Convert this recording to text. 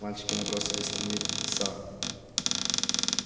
мальчики набросились на мит са